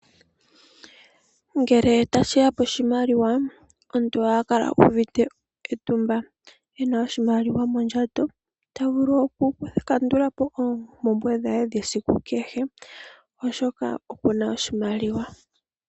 Ngele tashi ya poshimaliwa, omuntu ohaya kala u uvite etumba e na oshimaliwa mondjato ta vulu okukandula po oompumbwe dhe dhesiku kehe oshoka oku na oshimaliwa.